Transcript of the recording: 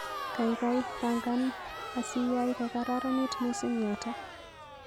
Gaigai pangan asiyay kogararanit mising yoto